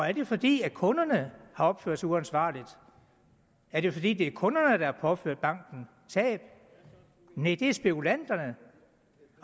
er det fordi kunderne har opført sig uansvarligt er det fordi det er kunderne der har påført banken tab næh det er spekulanterne